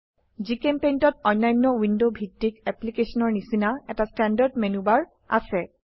জিচেম্পেইণ্ট ত অন্যান্য উইন্ডো ভিত্তিক অ্যাপ্লিকেশনেৰ নিচিনা এটা স্ট্যান্ডাৰ্ড মেনু বাৰ আছে